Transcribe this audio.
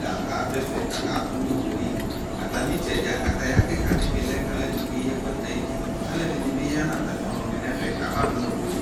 ladʋ ɛfɛ kakadʋ nʋ owʋeli atami itsɛdia kataya kikadi bi lɛ kʋ alʋɛdini keyi ɛkʋɛdi nayuti alʋɛdini bi yanʋ ɛfɛ nʋ atami ɔnʋni kabadʋ nʋ owueli